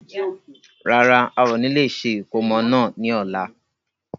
Rárá, ao ni lè ṣe ìkómọ náà ni ọ̀la.